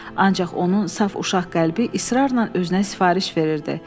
Ancaq onun saf uşaq qəlbi israrla özünə sifariş verirdi.